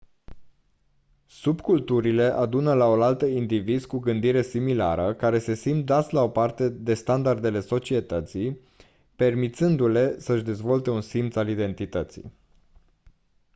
subculturile adună laolaltă indivizi cu gândire similară care se simt dați la o parte de standardele societății permițându-le să-și dezvolte un simț al identității